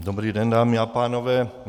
Dobrý den, dámy a pánové.